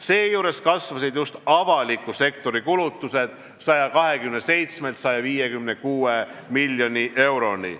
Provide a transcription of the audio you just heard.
Seejuures kasvasid just avaliku sektori kulutused 127 miljonist 156 miljoni euroni.